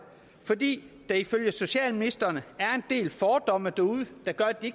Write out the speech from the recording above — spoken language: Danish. fordi der ifølge socialministeren er en del fordomme derude der gør at de